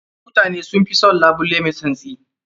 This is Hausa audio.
Mutane sun fi son labule mai tsantsi.